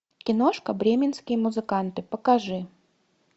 киношка бременские музыканты покажи